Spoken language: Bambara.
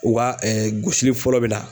U ka gosili fɔlɔ bɛ na.